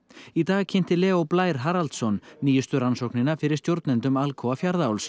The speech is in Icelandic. í dag kynnti Leó Blær Haraldsson nýjustu rannsóknina fyrir stjórnendum Alcoa Fjarðaáls